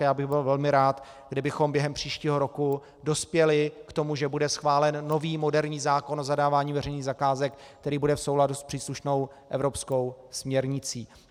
A já bych byl velmi rád, kdybychom během příštího roku dospěli k tomu, že bude schválen nový, moderní zákon o zadávání veřejných zakázek, který bude v souladu s příslušnou evropskou směrnicí.